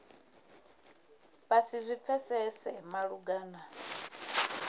vha si zwi pfesese malugana